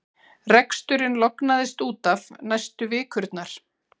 Reksturinn lognaðist út af næstu vikurnar.